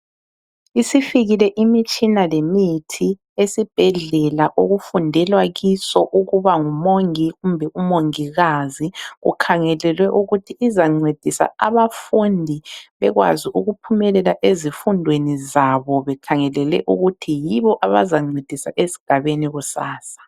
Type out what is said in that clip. Isifikile imitshina lemithi esibhedlela okufundelwa kiso ukuba ngumongi kumbe umongikazi, kukhangelelwe ukuthi izancedisa abafundi bekwazi ukuphumelela ezifundweni zabo bekhangelele ukuthi yibo abazancedisa esigabeni kusasa.